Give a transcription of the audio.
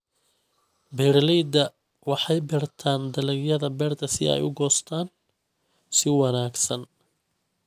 Beeraleydu waxay beertaan dalagyada beerta si ay u goostaan ??si wanaagsan.